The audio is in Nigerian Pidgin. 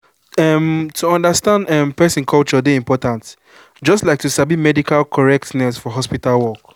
umm to understand um person culture dey important just like to sabi medical correctness for hospital work